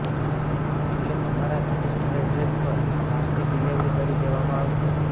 એટલે તમારા registered address પર ફાસ્ટેગ ડિલીવરી કરી દેવામાં આવશે